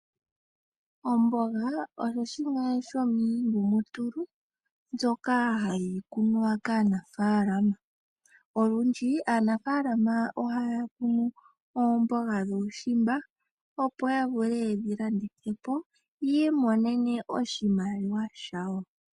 Omboga osho shimwe shomiingumutulu mboka hayi kunwa kaanafaalama. Olundji aanafaalama ohaya kunu oomboga dhuushimba, opo ya vule ye dhi landithe po yi imonene oshimaliwa shawo.